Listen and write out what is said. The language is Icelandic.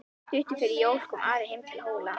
Stuttu fyrir jól kom Ari heim til Hóla.